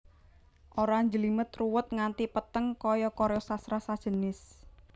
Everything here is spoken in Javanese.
Ora njlimet ruwet nganti peteng kaya karya sastra sajenis